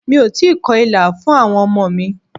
Mi ò tíì kọ ìlà fún àwọn ọmọ mi.